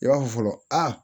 I b'a fɔ fɔlɔ aa